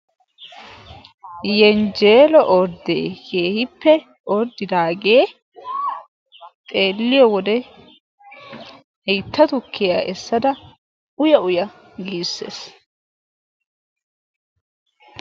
Yenjjeelo orddee keehippe orddidaagee xeeliyoo wode haytta tukkiyaa essada uya uya giises.